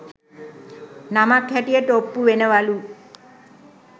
නමක් හැටියට ඔප්පු වෙනවලු